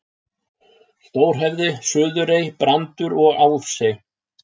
Stórhöfði, Suðurey, Brandur og Álfsey.